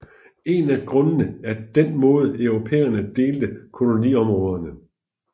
En af grundene er den måde europæerne delte koloniområderne